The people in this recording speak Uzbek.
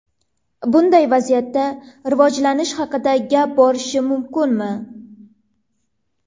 Bunday vaziyatda rivojlanish haqida gap borishi mumkinmi?